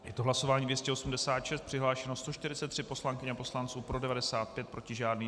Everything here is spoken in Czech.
Je to hlasování 286, přihlášeno 143 poslankyň a poslanců, pro 95, proti žádný.